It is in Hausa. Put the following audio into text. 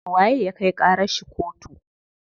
Waye ya kai ƙarar shi kotu?